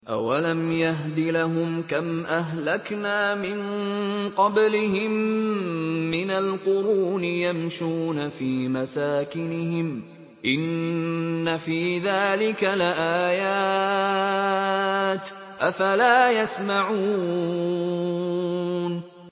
أَوَلَمْ يَهْدِ لَهُمْ كَمْ أَهْلَكْنَا مِن قَبْلِهِم مِّنَ الْقُرُونِ يَمْشُونَ فِي مَسَاكِنِهِمْ ۚ إِنَّ فِي ذَٰلِكَ لَآيَاتٍ ۖ أَفَلَا يَسْمَعُونَ